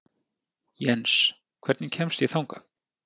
Jens, hvernig kemst ég þangað?